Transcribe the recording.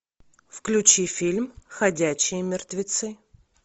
включи фильм ходячие мертвецы